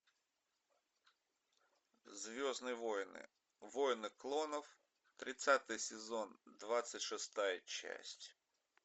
звездные войны войны клонов тридцатый сезон двадцать шестая часть